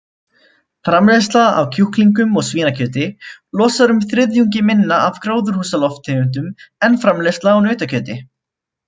Framleiðsla á kjúklingum og svínakjöti losar þriðjungi minna af gróðurhúsalofttegundum en framleiðsla á nautakjöti.